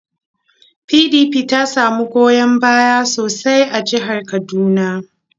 PDP ta samu goyon baya sosai a jihar Kaduna.